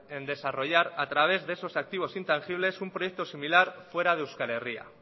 en desarrollar a través de esos activos intangibles un proyecto similar fuera de euskal herria